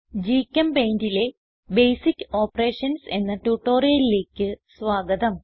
GChemPaintലെ basic operations എന്ന ട്യൂട്ടോറിയലിലേക്ക് സ്വാഗതം